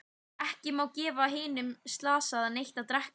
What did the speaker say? Ekki má gefa hinum slasaða neitt að drekka.